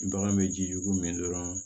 Bagan bɛ jijugu min dɔrɔn